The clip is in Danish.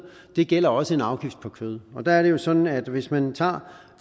og det gælder også en afgift på kød og der er det jo sådan at hvis man tager